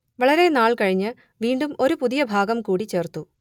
വളരെ നാൾ കഴിഞ്ഞ് വീണ്ടും ഒരു പുതിയ ഭാഗം കൂടി ചേർത്തു